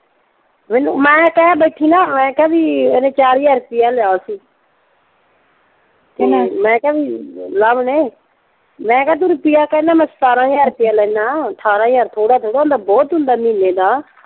ਮੈਨੂੰ ਮੈਂ ਕਹਿ ਬੈਠੀ ਨਾ ਆਏਂ ਕਿ ਵੀ ਉਹਨੇ ਚਾਰ ਹਜ਼ਾਰ ਰੁਪਈਆ ਲਿਆ ਸੀ ਕੀਹਨੇ? ਮੈਂ ਕਿਹਾ ਵੀ ਲਵ ਨੇ, ਮੈਂ ਕਿਹਾ ਤੂੰ ਰੁਪਈਆ ਕਹਿੰਦਾ ਮੈਂ ਸਤਾਰਾਂ ਹਜਾਰ ਲੈਨਾ। ਅਠਾਰਾਂ ਹਜ਼ਾਰ ਥੋੜ੍ਹਾ ਥੋੜ੍ਹਾ ਹੁੰਦਾ ਬਹੁਤ ਹੁੰਦਾ ਮਹੀਨੇ ਦਾ।